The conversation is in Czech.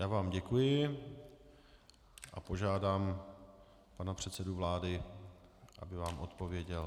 Já vám děkuji a požádám pana předsedu vlády, aby vám odpověděl.